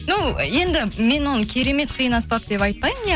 жоқ енді мен оны керемет қиын аспап деп айтпаймын иә